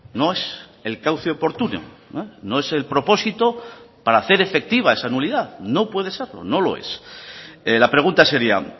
no es el cauce oportuno no es el propósito para hacer efectiva esa nulidad no puede serlo no lo es la pregunta sería